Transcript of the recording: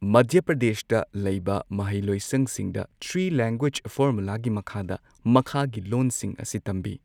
ꯃꯙ꯭ꯌ ꯄ꯭ꯔꯗꯦꯁꯇ ꯂꯩꯕ ꯃꯍꯩ ꯂꯣꯏꯁꯪꯁꯤꯡꯗ ꯊ꯭ꯔꯤ ꯂꯦꯡꯒ꯭ꯋꯦꯖ ꯐꯣꯔꯃꯨꯂꯥꯒꯤ ꯃꯈꯥꯗ ꯃꯈꯥꯒꯤ ꯂꯣꯟꯁꯤꯡ ꯑꯁꯤ ꯇꯝꯕꯤ